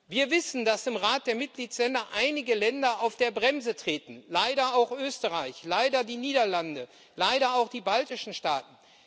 Wir wissen, dass im Rat der Mitgliedstaaten einige Länder auf die Bremse treten leider auch Österreich, leider die Niederlande, leider auch die baltischen Staaten.